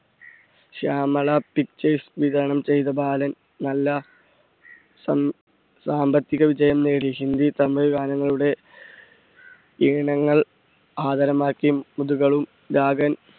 Shyamala pictures വിതരണം ചെയ്ത ബാലൻ നല്ല സം~സാമ്പത്തിക വിജയം നേടി. ഹിന്ദി, തമിഴ് ഗാനങ്ങളുടെ ഈണങ്ങൾ ആധാരമാക്കിയും നാഗൻ